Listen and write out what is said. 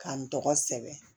K'an tɔgɔ sɛbɛn